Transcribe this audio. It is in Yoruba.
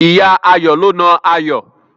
Ìyá Ayọ̀ ló na Ayọ̀.